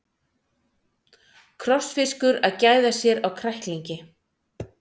Krossfiskur að gæða sér á kræklingi.